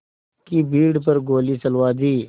की भीड़ पर गोली चलवा दी